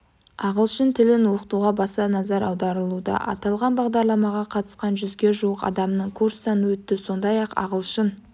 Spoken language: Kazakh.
ағылшын тілін оқытуға баса назар аударылуда аталған бағдарламаға қатысқан жүзге жуық адамның курстан өтті сондай-ақ ағылшын